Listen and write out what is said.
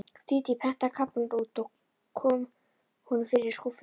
Dídí prentaði kaflann út og kom honum fyrir í skúffunni.